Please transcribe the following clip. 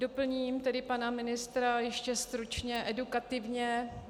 Doplním tedy pana ministra ještě stručně edukativně.